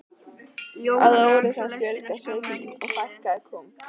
Að ári þarf að fjölga sauðkindinni og fækka kúm.